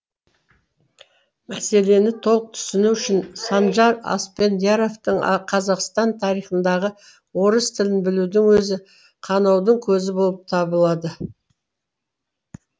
мәселені толық түсіну үшін санжар аспендияровтің қазақстан тарихындағы орыс тілін білудің өзі қанаудың көзі болып табылады